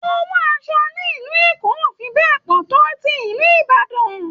Owó aṣọ nílùú Èkó ò fi bẹ́ẹ̀ pọ̀ tó ti ìlú Ìbàdàn